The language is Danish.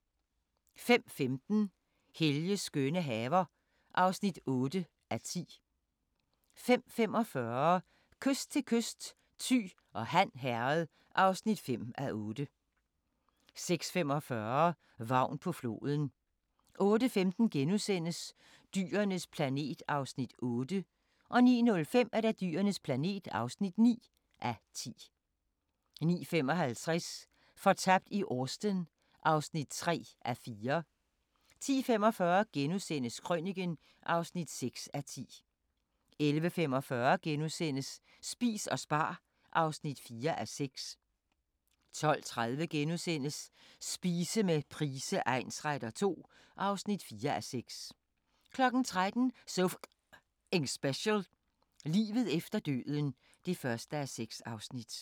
05:15: Helges skønne haver (8:10) 05:45: Kyst til kyst: Thy og Han Herred (5:8) 06:45: Vagn på floden 08:15: Dyrenes planet (8:10)* 09:05: Dyrenes planet (9:10) 09:55: Fortabt i Austen (3:4) 10:45: Krøniken (6:10)* 11:45: Spis og spar (4:6)* 12:30: Spise med Price egnsretter II (4:6)* 13:00: So F***ing Special: Livet efter døden (1:6)